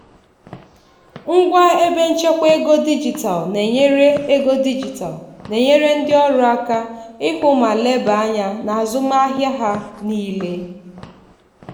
ngwa ebe nchekwa ego dijitalụ na-enyere ego dijitalụ na-enyere ndị ọrụ aka ịhụ ma leba anya n'azụmahịa ha niile.